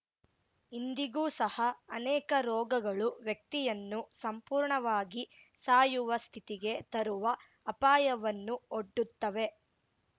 ಇಂದಿಗೂ ಸಹ ಅನೇಕ ರೋಗಗಳು ವ್ಯಕ್ತಿಯನ್ನು ಸಂಪೂರ್ಣವಾಗಿ ಸಾಯುವ ಸ್ಥಿತಿಗೆ ತರುವ ಅಪಾಯವನ್ನು ಒಡ್ಡುತ್ತವೆ